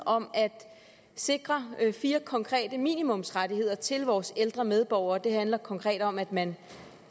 om at sikre fire konkrete minimumsrettigheder til vores ældre medborgere det handler konkret om at man